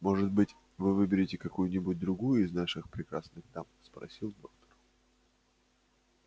может быть вы выберете какую-нибудь другую из наших прекрасных дам спросил доктор